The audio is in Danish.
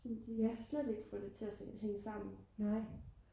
jeg kan slet ikke få det til at hænge sammen